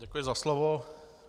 Děkuji za slovo.